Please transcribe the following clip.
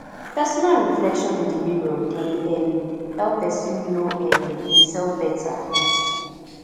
personal reflection in di mirror dey um help pesin know um imself beta um